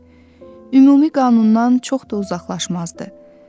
ümumi qanundan çox da uzaqlaşmazdı.